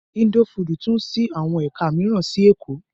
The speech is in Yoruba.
Info food too ṣí àwọn ẹ̀ka mìíràn sí Èkó.